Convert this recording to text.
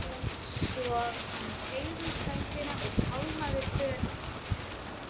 Svo hann teygði út höndina og tálmaði för hennar.